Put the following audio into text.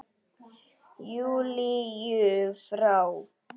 Júlíu frá.